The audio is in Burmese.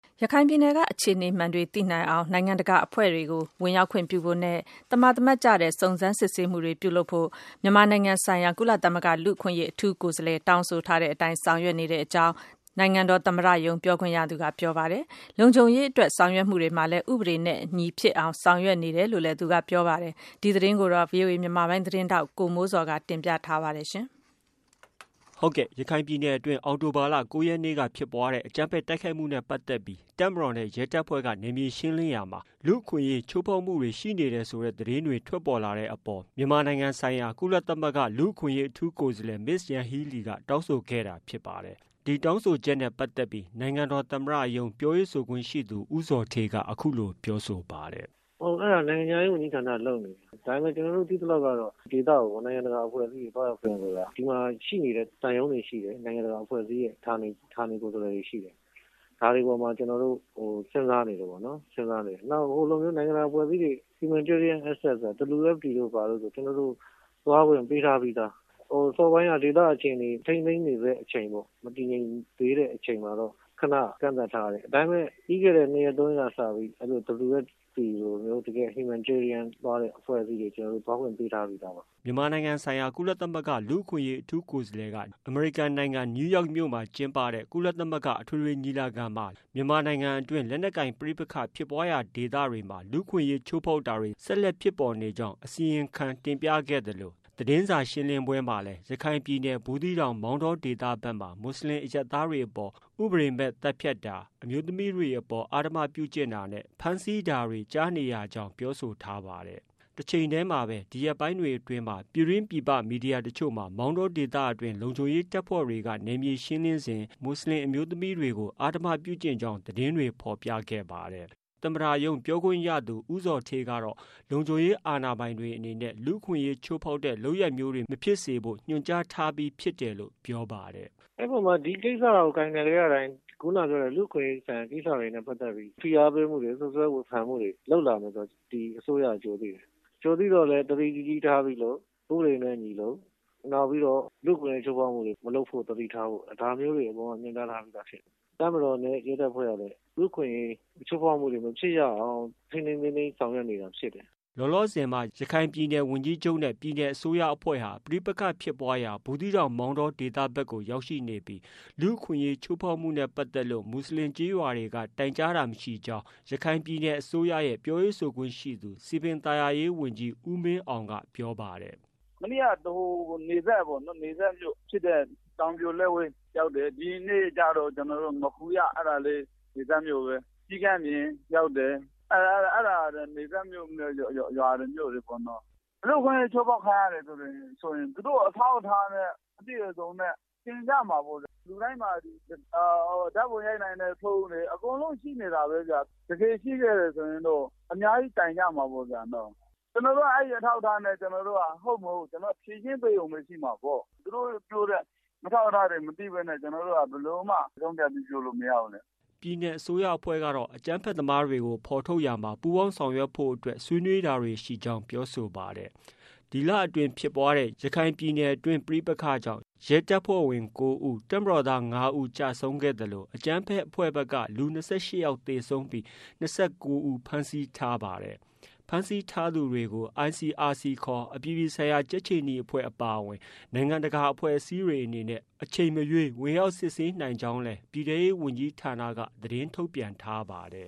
ရခိုင်ပြည်နယ်က အခြေအနေမှန်တွေသိနိုင်အောင် နိုင်ငံတကာအဖွဲ့တွေကို ဝင်ရောက်ခွင့်ပြုဖို့နဲ့ သမာသမတ်ကျတဲ့ စုံစမ်းစစ်ဆေးမှုတွေ ပြုလုပ်ဖို့ ကို မြန်မာနိုင်ငံ ဆိုင်ရာ ကုလသမဂ္ဂ လူ့အခွင့်အရေး အထူးကိုယ်စားလှယ် တောင်းဆို ထားတဲ့အတိုင်း ဆောင်ရွက်နေကြောင်း နိုင်ငံတော်သမ္မတရုံးပြောခွင့်ရသူက ပြောပါတယ်။ လုံခြုံရေးအတွက် ဆောင်ရွက်မှုတွေမှာလည်း ဥပဒေနဲ့ အညီဖြစ်အောင် ဆောင်ရွက်နေတယ်လို့ ပြောပါတယ်။ ဒီသတင်းကိုတော့ ဗွီအိုအေမြန်မာပိုင်းရဲ့ သတင်းထောက် ကိုမိုးဇော်က တင်ပြထားပါတယ်။ ရခိုင်ပြည်နယ်တွင်း အောက်တိုဘာလ ၉ရက်နေ့ဖြစ်ပွားတဲ့ အကြမ်းဖက် တိုက်ခိုက်မှု နဲ့ ပတ်သက်ပြီး တပ်မတော်နဲ့ ရဲတပ်ဖွဲ့က နယ်မြေရှင်းလင်းရာမှာ လူ့အခွင့်အရေး ချိုးဖောက်မှု ရှိနေတယ်ဆိုတဲ့ သတင်းတွေ ထွက်ပေါ်လာတဲ့ အပေါ်မှာ မြန်မာနိုင်ငံ ဆိုင်ရာ ကုလသမဂ္ဂ လူ့အခွင့်အရေး အထူးကိုယ်စားလှယ် မစ္စယန်ဟီးလီ က တောင်းဆိုခဲ့တာဖြစ်ပါတယ်။ ဒီတောင်းဆိုချက်နဲ့ပတ်သက်ပြီး နိုင်ငံတော်သမ္မတရုံးပြောရေးဆိုခွင့်ရှိသူ ဦးဇော်ဌေးက အခုလို ပြောဆိုပါတယ်။ " အဲ့တာ နိုင်ငံခြားရေးဝန်ကြီးဌာနက လုပ်နေတယ်။ နိုင်ငံခြားရေးက လုပ်နေတယ်။ ဒါပေမဲ့ ကျနော်တို့ သိသလောက်ကတော့ ဒီအပေါ်မှာ ဒီဒေသကို နိုင်ငံတကာ အဖွဲ့အစည်းတွေ သွားရောက်ခွင့်ကို ဒီမှာရှိနေတဲ့ သံရုံးတွေရှိတယ်။ နိုင်ငံတကာ အဖွဲ့အစည်းတွေရဲ့ ဌာနကိုယ်စားလှယ်တွေရှိတယ်။ ဒါတွေအပေါ်မှာ ကျနော်တို့ စဉ်းစားနေတုန်းပဲ။ နောက် ဟိုလိုမျိုး နိုင်ငံတကာအဖွဲ့အစည်းတွေရဲ့ humanitarian access ဆိုတာ ကျျနော်တို့ သွားခွင့်ပေးထားပြီးသား။ အစောပိုင်းက ဒေသ အခြေအနေ မတည်ငြိမ် ထိန်းသိမ်းနေဆဲအခြေအနေပေါ့။ မတည်ငြိမ်သေးတဲ့ အချိန်မှာတော့ ခဏ ကန့်သတ်ထားတယ်။ ဒါပေမဲ့ ပြီးခဲ့တဲ့ နှစ်ရက်၊ သုံးရက်က စပြီး WFP ( World Food Programme )လိုမျိုး တကယ့် humanitarian သွားတဲ့ အဖွဲ့အစည်းတွေကို ကျနော်တို့ သွားခွင့်ပေးထားပြီးသားပါ။" မြန်မာနိုင်ငံဆိုင်ရာ ကုလသမဂ္ဂ လူ့အခွင့်အရေး အထူးကိုယ်စားလှယ်က နယူးယောက်မြို့ မှာကျင်းပနေတဲ့ ကုလသမဂ္ဂ အထွေထွေညီလာခံမှာ လက်နက်ကိုင် ပဋိပက္ခဖြစ်ပွားရာဒေသတွေမှာ လူ့အခွင့်အရေးချိုးဖောက်တာတွေ ဆက်လက်ဖြစ်ပေါ်နေကြောင်း အစီရင်ခံတင်ပြခဲ့သလို သတင်းစာ ရှင်းလင်းပွဲ မှာလည်း ရခိုင်ပြည်နယ် ဘူးသီးတောင်၊ မောင်တောဒေသ ဘက်မှာ မူဆလင် အရပ်သားတွေအပေါ် ဥပဒေမဲ့ သတ်ဖြတ်မှု၊ အမျိုးသမီးတွေအပေါ် အဓမ္မပြုကျင့်မှု၊ ဖမ်းဆီးမှုတွေ ကြားနေရကြောင်း ပြောဆိုထားပါတယ်။ တချိန်တည်းမှာပဲ ဒီရက်ပိုင်းတွေမှာ ပြည်တွင်း ပြည်ပ သတင်းမီဒီယာ တချို့မှာ မောင်တောဒေသအတွင်း လုံခြုံရေးတပ်ဖွ့ဲတွေက နယ်မြေရှင်းလင်းစဉ်မှာ မူဆလင်အမျိုးသမီးတွေကို အဓမ္မပြုကျင့်ကြောင်း သတင်းတွေ ဖော်ပြခဲ့ပါတယ်။ သမ္မတရုံးပြောခွင့်ရသူ ဦးဇော်ဌေး ကတော့ လုံခြုံရေးအာဏာပိုင်တွေအနေနဲ့ လူ့အခွင့်အရေး ချိုးဖောက်တဲ့ လုပ်ရပ်မျိုးတွေ မဖြစ်စေဖို့ ညွန်ကြား ထားပြီးဖြစ် တယ်လို့ ပြောပါတယ်။ " အဲ့အပေါ်မှာတော့ ဒီကိစ္စတွေကို ကိုင်တွယ်တဲ့အခါ ခုနကပြောသလို လူ့အခွင့်အရေးဆိုင်ရာ ကိစ္စတွေနဲ့ပတ်သက်ပြီး ဖိအားပေးမှုတွေ၊ စွပ်စွဲဝေဖန်မှုတွေ လုပ်လာမယ်ဆိုတာကို ဒီအစိုးရက ကြိုသိတယ်။ ကြိုသိတော့ သတိကြီးကြီးထားပြီး လုပ် ဥပဒေနဲ့အညီ လုပ်၊ နောက်ပြီးတော့ လူ့အခွင့်အရေးချိုးဖောက်မှုတွေ မလုပ်ဖို့ ဒါမျိုးတွေ အကုန်လုံး ညွှန်ကြားထားပြီးသားဖြစ်တယ်။ တပ်မတော်နဲ့ ရဲတပ်ဖွဲ့ကလည်း လူ့အခွင့်အရေး ချိုးဖောက်မှုတွေ မဖြစ်အောင် ထိန်းထိန်းသိမ်းသိမ်း ဆောင်ရွက်နေ တာဖြစ်တယ်။" လောလောဆည်မှာ ရခိုင်ပြည်နယ် ဝန်ကြီးချုပ်နဲ့ ပြည်နယ်အစိုးရအဖွဲ့ဟာ ပဋိပက္ခဖြစ်ပွားရာ ဘူးသီးတောင်၊ မောင်တော ဒေသဘက်ကို ရောက်ရှိနေပြီး လူ့အခွင့်အရေး ချိုးဖောက်မှုနဲ့ပတ်သက်လို့ မူဆလင်ကျေးရွာတွေက တိုင်ကြားတာ မရှိကြောင်း ရခိုင်ပြည်နယ်အစိုးရရဲ့ ပြောရေးဆိုခွင့်ရှိသူ စည်ပင်သာယာရေးဝန်ကြီး ဦးမင်းအောင်က ပြောပါတယ်။ " မနေ့က နယ်စပ်မြို့ဖြစ်တဲ့ တောင်ပြိုလက်ဝဲရောက်တယ်။ ဒီနေ့ကတော့ ငါးခူရ အဲ့တာလည်း နယ်စပ်မြို့ပဲ။ ကျီးကန်းပြင်ရောက်တယ်။ အဲ့တာ နယ်စပ်မြို့ ရွာတွေပေါ့နော်။ လူ့အခွင့်အရေး ချိုးဖောက်ခံရတယ်ဆိုရင် သူတို့အထောက်အထားနဲ့ အပြည့်အစုံ တင်ပြမှာပေါ့။ လူတိုင်းမှာ ဓာတ်ပုံရိုက်နိုင်တဲ့ဖုန်းတွေရှိနေတာပဲ။ တကယ်ရှိခဲ့တယ်ဆိုရင်တော့ အများကြီး တိုင်ကြမှာပေါ့နော်။ ကျနော်တို့က အဲ့ဒီ့အထောက်အထားနဲ့ ကျနော်တို့က ဖြေရှင်းပေးရုံပဲ ရှိမှာပေါ့။ သူတို့ပြောတဲ့ အထောက်အထားတွေ မသိပဲနဲ့ ကျနော်တို့က ဘယ်လိုမှ ဆုံးဖြတ်ပြီး ပြောလို့မရဘူးလေ။" ပြည်နယ်အစိုးရအဖွဲ့ကတော့ အကြမ်းဖက်သမားတွေကို ဖော်ထုတ်ရာမှာ ပူးပေါင်းဆောင်ရွက်ဖို့အတွက် ဆွေးနွေးတာတွေ ရှိကြောင်း ပြောဆိုပါတယ်။ ဒီလတွင်း ဖြစ်ပွားတဲ့ ရခိုင်ပြည်နယ်တွင်း ပဋိပက္ခကြောင့် ရဲတပ်ဖွဲ့ဝင်၉ဦး၊ တပ်မတော်သား ၅ဦး ကျဆုံးခဲ့သလို အကြမ်းဖက်အဖွဲ့ဘက်က လူ ၂၈ယောက်သေဆုံးပြီး ၂၉ဦး ဖမ်းဆီးထားပါတယ်။ ဖမ်းဆီးထားသူတွေကို ICRC ခေါ် အပြည်ပြည်ဆိုင်ရာကြက်ခြေနီအဖွဲ့အပါအဝင် နိုင်ငံတကာအဖွဲ့အစည်းတွေအနေနဲ့ အချိန်မရွေး ဝင်ရောက်စစ်ဆေးနိုင်ကြောင်း ပြည်ထဲရေးဝန်ကြီးဌာနက သတင်းထုတ်ပြန်ထားပါတယ်